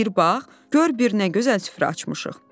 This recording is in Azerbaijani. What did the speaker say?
Bir bax, gör bir nə gözəl süfrə açmışıq.